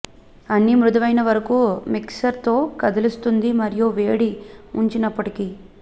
అన్ని మృదువైన వరకు మిక్సర్ తో కదిలిస్తుంది మరియు వేడి ఉంచినప్పటికీ